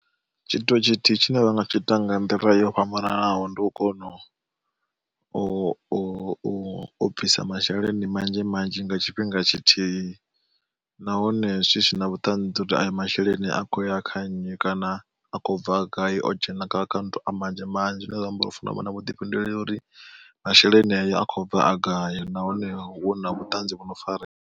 Tshithu tshithihi tshine vhanga tshi ita nga nḓila yo fhambananaho ndi u kona u u u u bvisa masheleni manzhi manzhi nga tshifhinga tshithihi, nahone zwi sina vhuṱanzi uri ayo masheleni a khou ya kha nnyi kana a khou bva gai o dzhena kha akhaunthu a manzhi manzhi zwine zwa amba uri hufuna u vha na vhuḓifhinduleli uri masheleni ayo a khou bva a gai nahone hu na vhutanzi vhu no farea.